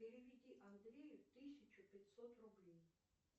переведи андрею тысячу пятьсот рублей